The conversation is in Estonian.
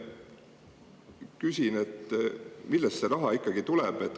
Küsin, millest see raha ikkagi tuleb.